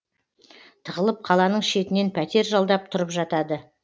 тығылып қаланың шетінен пәтер жалдап тұрып жатады